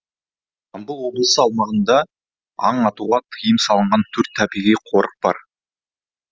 жамбыл облысы аумағында аң атуға тыйым салынғантөрт табиғи қорық бар